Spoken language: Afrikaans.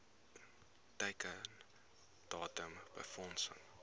teiken datum befondsing